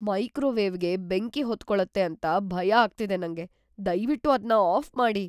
ಮೈಕ್ರೋವೇವ್‌ಗೆ ಬೆಂಕಿ ಹೊತ್ಕೊಳತ್ತೆ ಅಂತ ಭಯ ಆಗ್ತಿದೆ ನಂಗೆ. ದಯ್ವಿಟ್ಟು ಅದ್ನ ಆಫ್ ಮಾಡಿ.